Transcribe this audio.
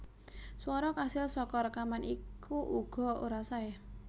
Swara kasil saka rékaman iku uga ora saé